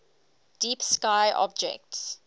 deep sky objects